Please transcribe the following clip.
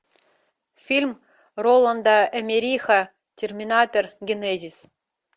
фильм роланда эммериха терминатор генезис